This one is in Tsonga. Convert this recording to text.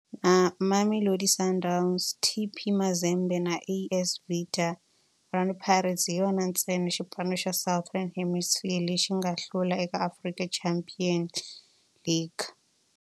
Na Mamelodi Sundowns, TP Mazembe na AS Vita, Orlando Pirates hi yona ntsena xipano xa Southern Hemisphere lexi nga hlula eka African Champions League.